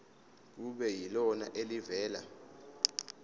kube yilona elivela